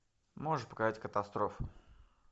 можешь показать катастрофы